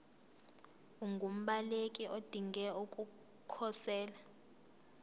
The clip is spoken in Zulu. ungumbaleki odinge ukukhosela